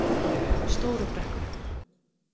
Stóru Brekku